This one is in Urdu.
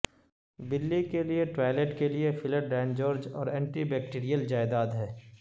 بلی کے لئے ٹوائلٹ کے لئے فلر ڈاینجورج اور اینٹی بیکٹیریل جائیداد ہے